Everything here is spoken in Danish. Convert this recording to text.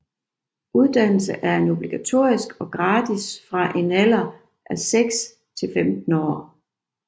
Uddannelse er obligatorisk og gratis fra en alder af 6 til 15 år